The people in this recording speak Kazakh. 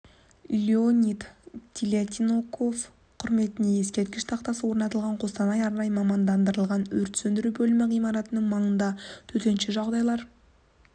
леонид телятников құрметіне ескерткіш тақтасы орнатылған қостанай арнайы мамандандырылған өрт сөндіру бөлімі ғимаратының маңында төтенше жағдайлар